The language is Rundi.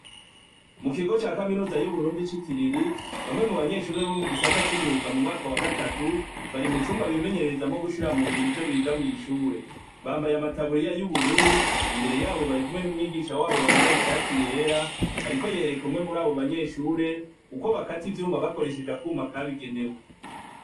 Mu kigo ca kaminuza y'uburundi c'ikiriri bamwe mu banyeshurie bo mu gisata c'imyuga mu mwaka wa gatatu bari mu cumba bimenyerereza mo gushira mu ngiro ivyo biga mw'ishure bambaye amataburi yayo'ubururu imbere yabo bari kumwe n'umwigisha wabo yambaye ishati yera, ariko yereka umwe muri abo banyeshure uko bakati vyumba bakoresheje akwuma kabo igenewe.